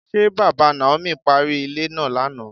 Ṣé bàbá Naomi parí ilé náà lánàá?